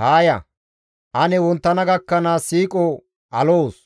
Haa ya; ane wonttana gakkanaas siiqo aloos;